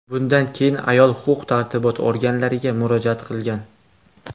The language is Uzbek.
Bundan keyin ayol huquq tartibot organlariga murojaat qilgan.